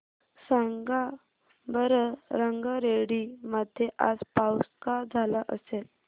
सांगा बरं रंगारेड्डी मध्ये आज पाऊस का झाला असेल